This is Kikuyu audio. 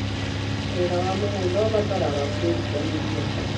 Wĩra wa mũgũnda ũbataraga kwĩrutanĩria.